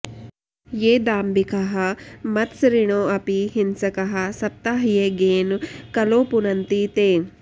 ये दाम्भिकाः मत्सरिणोऽपि हिंसकाः सप्ताहयज्ञेन कलौ पुनन्ति ते